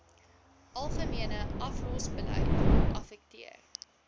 algemene aflosbeleid affekteer